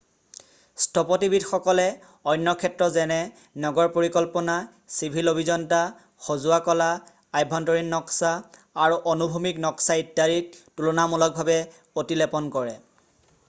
স্থপতিবিদসকলে অন্য ক্ষেত্ৰ যেনে নগৰ পৰিকল্পনা চিভিল অভিয়ন্তা সজোৱা কলা আভ্যন্তৰীণ নক্সা আৰু অনুভূমিক নক্সা ইত্যাদিত তুলনামূলকভাৱে অতিলেপন কৰে